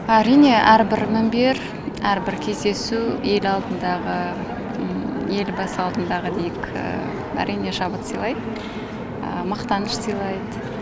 әрине әрбір мімбер әрбір кездесу ел алдындағы елбасы алдындағы дейік әрине шабыт сыйлайды мақтаныш сыйлайды